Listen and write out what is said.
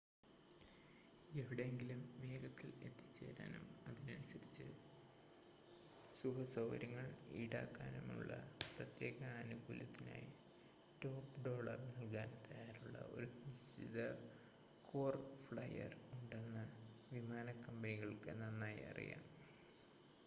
എവിടെയെങ്കിലും വേഗത്തിൽ എത്തിച്ചേരാനും അതിനനുസരിച്ച് സുഖസൗകര്യങ്ങൾ ഈടാക്കാനുമുള്ള പ്രത്യേക ആനുകൂല്യത്തിനായി ടോപ്പ് ഡോളർ നൽകാൻ തയ്യാറുള്ള ഒരു നിശ്ചിത കോർ ഫ്ലൈയർ ഉണ്ടെന്ന് വിമാനക്കമ്പനികൾക്ക് നന്നായി അറിയാം